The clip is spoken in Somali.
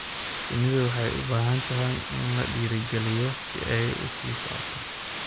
Shinnidu waxay u baahan tahay in la dhiirigeliyo si ay u sii socoto.